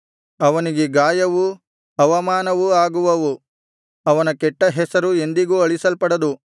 ಅವನಿಗೆ ಗಾಯವೂ ಅವಮಾನವೂ ಆಗುವವು ಅವನ ಕೆಟ್ಟ ಹೆಸರು ಎಂದಿಗೂ ಅಳಿಸಲ್ಪಡದು